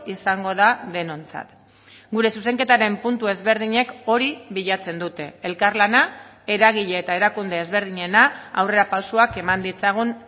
izango da denontzat gure zuzenketaren puntu ezberdinek hori bilatzen dute elkarlana eragile eta erakunde ezberdinena aurrerapausoak eman ditzagun